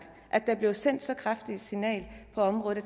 at der blev sendt så kraftigt et signal på området